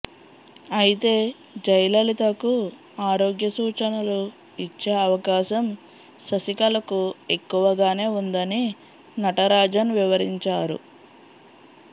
అయితే జయలలితకు ఆరోగ్య సూచనలు ఇచ్చే అవకాశం శశికళకు ఎక్కువగానే ఉందని నటరాజన్ వివరించారు